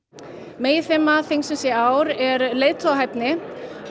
meginþema þingsins í ár er leiðtogahæfni